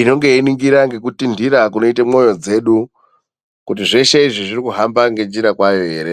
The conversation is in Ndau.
inenge yeiningira ngekutindhira kunenge kweiita mwoyo dzedu, kuti zveshe izvi zviri kuhamba ngenjira kwayo ere.